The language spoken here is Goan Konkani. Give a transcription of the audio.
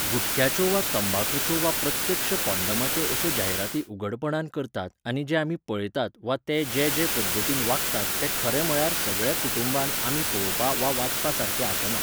गुटख्याच्यो वा तंबाखूच्यो वा प्रत्यक्ष कोंण्डोमाच्यो अश्यो जायराती उघडपणान करतात आनी जें आमी पळयतात वा ते जे जे पद्दतीन वागतात तें खरें म्हळ्यार सगळ्या कुटूंबान आमी पळोवपा वा वाचपा सारकें आसना.